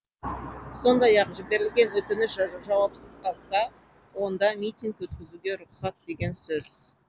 сондай ақ жіберілген өтініш жауапсыз қалса онда митинг өткізуге рұқсат деген сөз